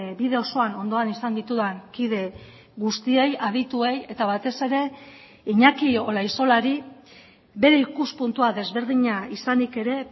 bide osoan ondoan izan ditudan kide guztiei adituei eta batez ere iñaki olaizolari bere ikuspuntua desberdina izanik ere